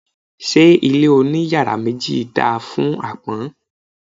Ṣé ilé oní yàrá méjì dáa fún àpọ́n?